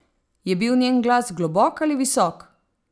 Je bil njen glas globok ali visok?